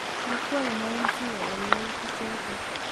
kikwong Mwanzia eng youtichoto